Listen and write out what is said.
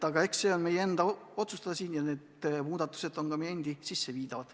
Aga see on meie enda otsustada, need muudatused on põhimõtteliselt meie endi sisseviidavad.